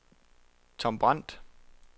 Tom Brandt